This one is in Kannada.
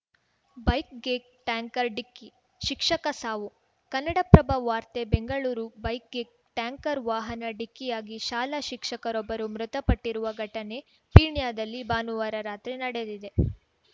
ಬೈಕ್‌ಗೆ ಟ್ಯಾನ್ಕರ್ ಡಿಕ್ಕಿ ಶಿಕ್ಷಕ ಸಾವು ಕನ್ನಡಪ್ರಭ ವಾರ್ತೆ ಬೆಂಗಳೂರು ಬೈಕ್‌ಗೆ ಟ್ಯಾನ್ಕರ್‌ ವಾಹನ ಡಿಕ್ಕಿಯಾಗಿ ಶಾಲಾ ಶಿಕ್ಷಕರೊಬ್ಬರು ಮೃತಪಟ್ಟಿರುವ ಘಟನೆ ಪೀಣ್ಯದಲ್ಲಿ ಭಾನುವಾರ ರಾತ್ರಿ ನಡೆದಿದೆ